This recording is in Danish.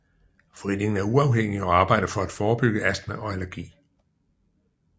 Foreningen er uafhængig og arbejder for at forebygge astma og allergi